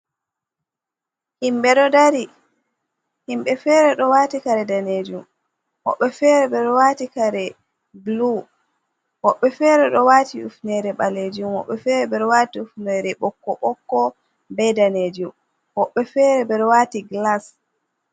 Himɓe ɗo dari. Himɓe fere ɗo waati kare danejum, woɓɓe fere ɓeɗo waati kare bulu, woɓɓe fere ɗo waati hifnere ɓalejum, woɓɓe fere ɓeɗo waati hifnere ɓokko-ɓokko be danejum, woɓɓe fere ɓeɗo waati glass.